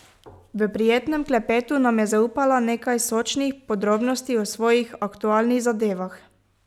V prijetnem klepetu nam je zaupala nekaj sočnih podrobnosti o svojih aktualnih zadevah.